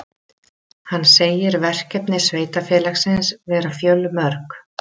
Hann segir verkefni sveitarfélagsins vera fjölmörg